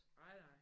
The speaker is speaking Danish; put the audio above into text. Ej nej